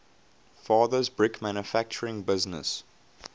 father's brick manufacturing business